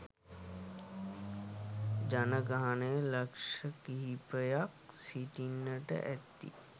ජනගහනය ලක්ෂකීපයක් සිටින්නට ඇති